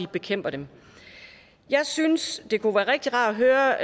bekæmpe dem jeg synes det kunne være rigtig rart at høre